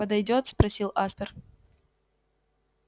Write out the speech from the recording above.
подойдёт спросил аспер